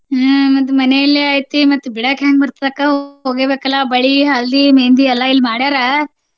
ಹ್ಮ್ ಮತ್ತ್ ಮನೆಯಲ್ಲೇ ಐತಿ ಮತ್ತ್ ಬಿಡಾಕ ಹೆಂಗ ಬರ್ತೆತಿ ಅಕ್ಕಾ ಹೋಗ್ಲೇಬೇಕಲ್ಲಾ. ಬಳಿ, हल्दी, मेहदी ಎಲ್ಲಾ ಇಲ್ಲಿ ಮಾಡ್ಯಾರ.